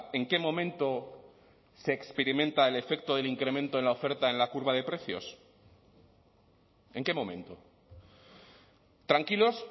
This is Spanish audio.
en qué momento se experimenta el efecto del incremento en la oferta en la curva de precios en qué momento tranquilos